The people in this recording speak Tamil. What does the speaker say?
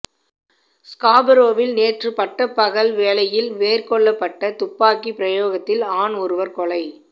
ஸ்காபரோவில் நேற்றுப் பட்டப் பகல் வேளையில் மேற்கொள்ளப்பட்ட துப்பாக்கிப் பிரயோகத்தில் ஆண் ஒருவர் கெ